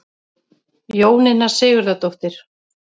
Jóninna Sigurðardóttir.